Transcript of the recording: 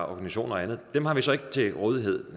organisationer og andet har vi så ikke til rådighed